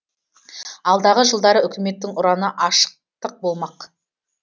алдағы жылдары үкіметтің ұраны ашықтық болмақ